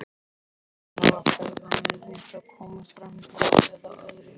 Kristján: Hafa ferðamenn reynt að komast framhjá eða aðrir?